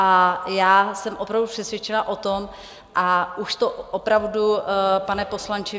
A já jsem opravdu přesvědčena o tom - a už to opravdu, pane poslanče